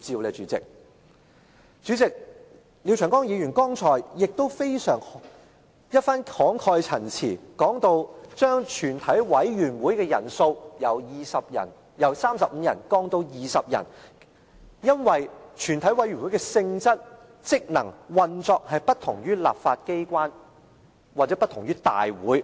代理主席，廖長江議員剛才的一番慷慨陳辭，說到將全體委員會的人數由35人降至20人，是因為全體委員會的性質、職能和運作不同於立法機關或不同於大會。